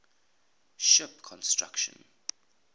ship construction